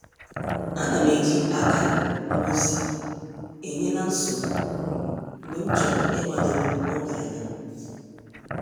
Anam eji akara ngosi enye-na-nsogbu mgbe m chọrọ igbadoro oge anya.